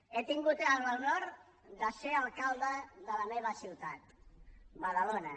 he tingut l’honor de ser alcalde de la meva ciutat badalona